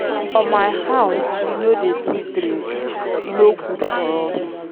For my house we no dey too drink, e no good for us.